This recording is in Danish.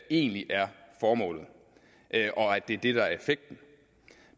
egentlig er formålet og at det er det der er effekten